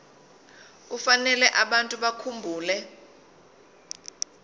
kufanele abantu bakhumbule